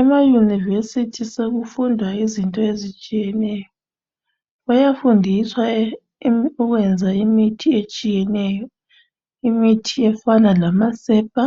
Ema University sokufundwa izinto ezitshiyeneyo bayafundiswa ukwenza imithi etshiyeneyo imithi efana lamasepa ,